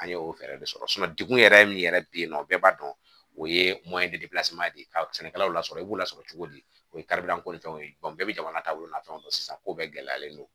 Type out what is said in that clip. An ye o fɛɛrɛ de sɔrɔ degun yɛrɛ min yɛrɛ bɛ yen nɔ bɛɛ b'a dɔn o ye de ye ka sɛnɛkɛlaw lasɔrɔ i b'o lasɔrɔ cogo di o ye ko ni fɛnw ye bɛɛ bɛ jamana taabolo nafɛnw don sisan ko bɛɛ gɛlɛyalen don